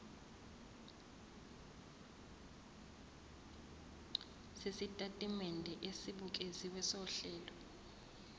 sesitatimende esibukeziwe sohlelo